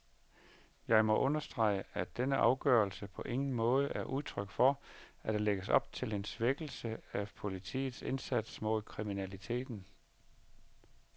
Jeg må understrege, at denne afgørelse på ingen måde er udtryk for, at der lægges op til en svækkelse af politiets indsats mod kriminaliteten.